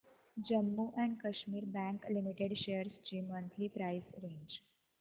Jammu and Kashmir bank limited shares ची monthly price range